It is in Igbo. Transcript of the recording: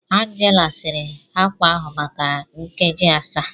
Angela siri akwa ahụ maka nkeji asaa